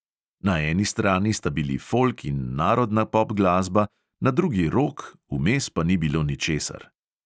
Na eni strani sta bili folk in narodna pop glasba, na drugi rok, vmes pa ni bilo ničesar.